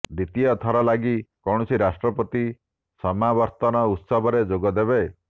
ଦ୍ୱିତୀୟ ଥର ଲାଗି କୌଣସି ରାଷ୍ଟ୍ରପତି ସମାବର୍ତନ ଉତ୍ସବରେ ଯୋଗଦେବେ